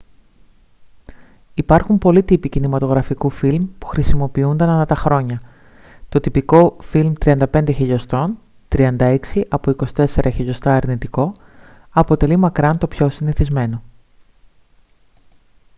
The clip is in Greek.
υπάρχουν πολλοί τύποι κινηματογραφικού φιλμ που χρησιμοποιούνταν ανά τα χρόνια. το τυπικό φιλμ 35 mm 36 από 24 mm αρνητικό αποτελεί μακράν το πιο συνηθισμένο